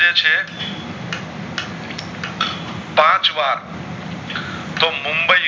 પાંચ વાર મુંબઈ